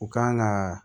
U kan ka